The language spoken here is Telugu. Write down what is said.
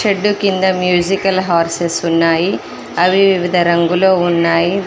షెడ్డు కింద మ్యూజికల్ హర్సెస్ ఉన్నాయి అవి వివిధ రంగులు ఉన్నాయి.